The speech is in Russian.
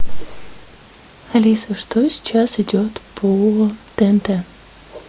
алиса что сейчас идет по тнт